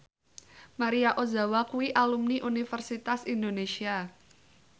Maria Ozawa kuwi alumni Universitas Indonesia